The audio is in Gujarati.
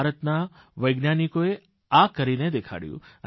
ભારતના વૈજ્ઞાનિકોએ આ કરીને દેખાડ્યું